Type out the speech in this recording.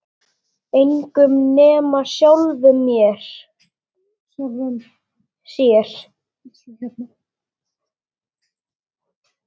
Engum nema sjálfum sér.